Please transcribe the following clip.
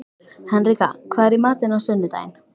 Henrika, hvað er í matinn á sunnudaginn?